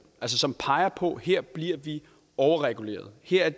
altså som peger på at her bliver de overreguleret at her